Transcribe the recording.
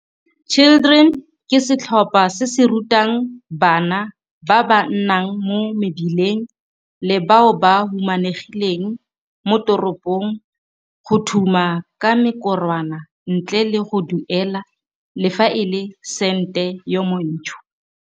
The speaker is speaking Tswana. Children ke setlhopha se se rutang bana ba ba nnang mo mebileng le bao ba humanegileng mo teropong go thuma ka mekorwana ntle le go duela le fa e le sente yo montsho.